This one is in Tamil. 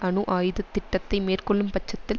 அணு ஆயுத திட்டத்தை மேற்கொள்ளும் பட்சத்தில்